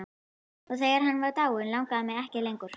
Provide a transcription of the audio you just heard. Og þegar hann var dáinn langaði mig ekki lengur.